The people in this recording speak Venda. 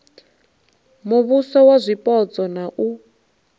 muvhuso wa zwipotso na u